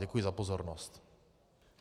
Děkuji za pozornost.